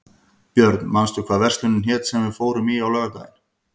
Björn, manstu hvað verslunin hét sem við fórum í á laugardaginn?